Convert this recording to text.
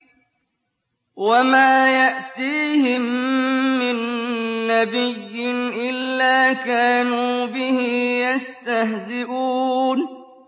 وَمَا يَأْتِيهِم مِّن نَّبِيٍّ إِلَّا كَانُوا بِهِ يَسْتَهْزِئُونَ